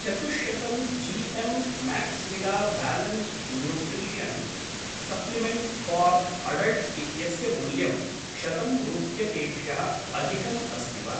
चतुश्शतं G M माक्स्वीदा balanced nutrition supplement for adults इत्यस्य मूल्यं शतं रूप्यकेभ्यः अधिकम् अस्ति वा?